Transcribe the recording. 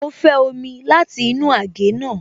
Mo fẹ́ omi láti inú àgé náà